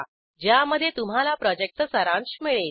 ज्यामध्ये तुम्हाला प्रॉजेक्टचा सारांश मिळेल